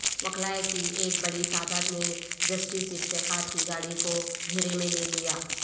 وکلاء کی ایک بڑی تعداد نے جسٹس افتخار کی گاڑی کو گھیرے میں لے لیا